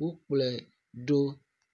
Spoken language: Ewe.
wokplɔe ɖo